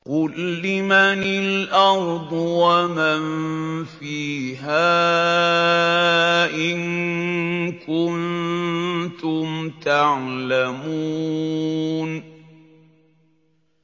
قُل لِّمَنِ الْأَرْضُ وَمَن فِيهَا إِن كُنتُمْ تَعْلَمُونَ